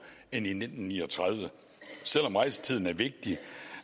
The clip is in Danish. end i nitten ni og tredive selv om rejsetiden er vigtig